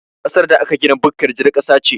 Ƙasar da aka gina bukkar jar ƙasa ce